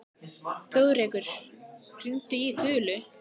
Þjóðrekur, hringdu í Þulu.